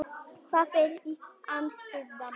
Það er í Amsterdam.